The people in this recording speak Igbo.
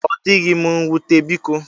Odịghị m nwute biko.